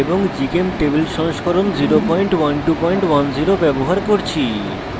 gchemtable সংস্করণ 01210 ব্যবহার করছি